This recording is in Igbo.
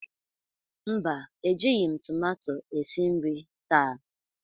mba, Ejighị m tomato esi nri taa.